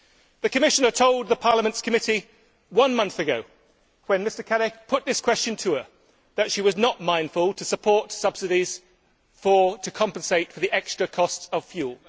The Commissioner told Parliament's committee one month ago, when Mr Cadec put this question to her, that she was not mindful to support subsidies to compensate for the extra cost of fuel.